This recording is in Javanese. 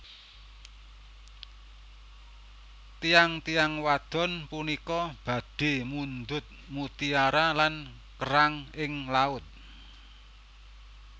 Tiyang tiyang wadon punika badhe mundhut mutiara lan kerang ing laut